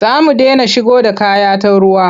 Za mu dena shigo da kaya ta ruwa.